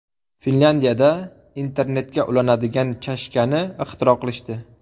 Finlyandiyada internetga ulanadigan chashkani ixtiro qilishdi.